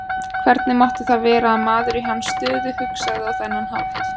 Hvernig mátti það vera að maður í hans stöðu hugsaði á þennan hátt?